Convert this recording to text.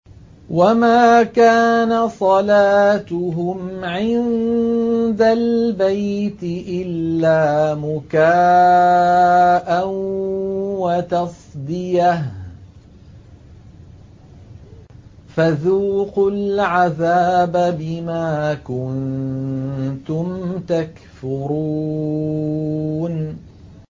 وَمَا كَانَ صَلَاتُهُمْ عِندَ الْبَيْتِ إِلَّا مُكَاءً وَتَصْدِيَةً ۚ فَذُوقُوا الْعَذَابَ بِمَا كُنتُمْ تَكْفُرُونَ